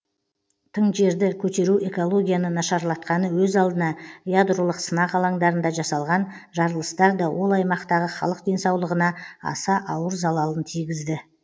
тың жерді көтеру экологияны нашарлатқаны өз алдына ядролық сынақ алаңдарында жасалған жарылыстар да ол аймақтағы халық денсаулығына аса ауыр залалын тигізді